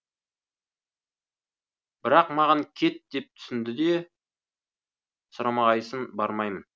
бірақ маған кет деп түсінде де сұрамағайсың бармаймын